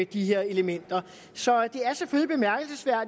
de her elementer så